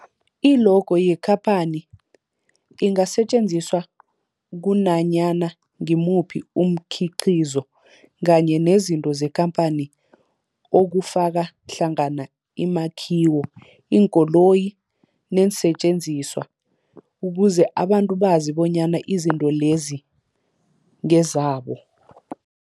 I-logo yekhaphani ingasetjenziswa kunanyana ngimuphi umkhiqizo kanye nezinto zekhamphani okufaka hlangana imakhiwo, iinkoloyi neensentjenziswa ukuze abantu bazi bonyana izinto lezo ngezabo.